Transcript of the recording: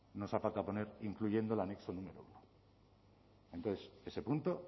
nos ha faltado poner incluyendo el anexo número primero entonces ese punto